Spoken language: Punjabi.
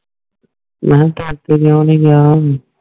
ਮੈ ਕਯੋ ਨਿ ਗਯਾ